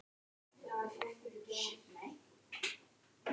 Eruð þið vel undirbúnir fyrir mótið?